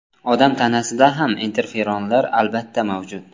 Odam tanasida ham interferonlar albatta mavjud.